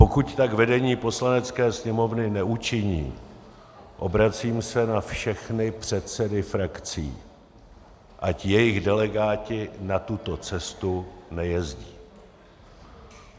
Pokud tak vedení Poslanecké sněmovny neučiní, obracím se na všechny předsedy frakcí, ať jejich delegáti na tuto cestu nejezdí.